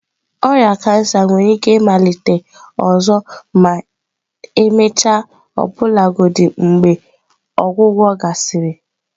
Ọrịa kansa nwere ike ịmalite ọzọ ma emechaa ọbụlagodi mgbe ọgwụgwọ gasịrị.